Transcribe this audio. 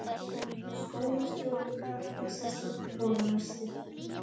Skólastjóri- bekkjarsystir- borða nesti